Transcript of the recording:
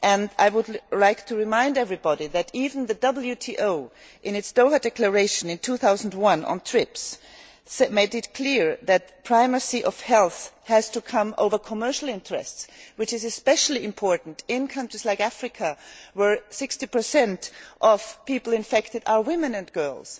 I would like to remind everybody that even the WTO, in its Doha Declaration in 2001 on TRIPS, made it clear that primacy of health has to come before commercial interests, which is especially important in countries like Africa, where 60 of people infected are women and girls